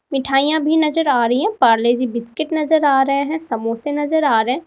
मिठाइयां भी नजर आ रही है परले जी बिस्किट नजर आ रहे हैं समोसे नजर आ रहे--